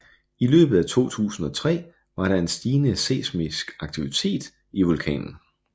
I løbet af 2003 var der en stigende seismisk aktivitet i vulkanen